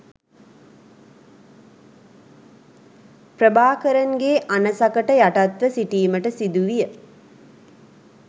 ප්‍රභාකරන්ගේ අණසකට යටත්ව සිටීමට සිදුවිය